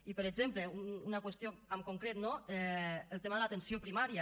i per exemple una qüestió en concret no el tema de l’atenció primària